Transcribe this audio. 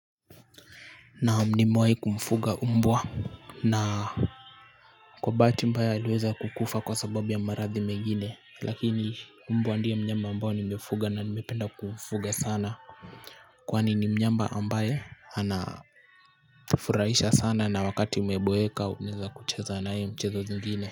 Naam nimewai kumfuga umbwa na kwa bahati mbaya aliweza kukufa kwa sababu ya maradhi mengine lakini mbwa ndiye mnyama ambao nimefuga na nimependa kumfuga sana. Kwani ni mnyama ambaye anafurahisha sana na wakati umeboeka unaeza kucheza nae mchezo zingine.